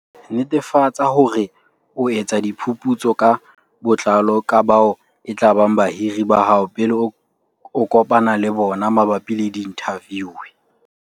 Netefatsa hore o etsa diphuputso ka botlalo ka bao e tlabang bahiri ba hao pele o kopana le bona mabapi le diinthaviu.